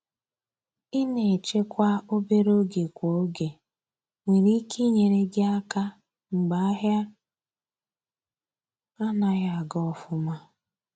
Ina echekwa obere ego kwa oge nwere ike inyere gi aka mgbe ahia anaghị aga aga.